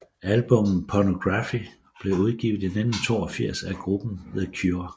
Albummet Pornography blev udgivet i 1982 af gruppen The Cure